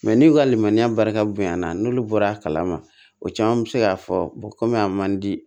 n'u ka limaniya barika bonyana n'olu bɔra a kalama o caman bɛ se k'a fɔ komi a man di